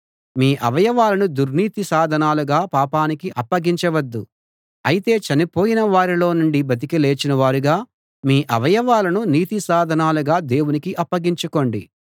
మీ అవయవాలను దుర్నీతి సాధనాలుగా పాపానికి అప్పగించవద్దు అయితే చనిపోయిన వారిలో నుండి బతికి లేచినవారుగా మీ అవయవాలను నీతి సాధనాలుగా దేవునికి అప్పగించుకోండి